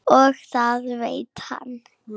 Og það veit hann.